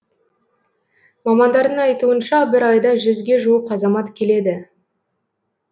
мамандардың айтуынша бір айда жүзге жуық азамат келеді